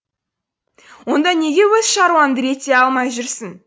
онда неге өз шаруаңды реттей алмай жүрсің